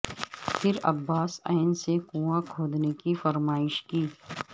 پھر عباس ع سے کنواں کھودنے کی فرمائش کی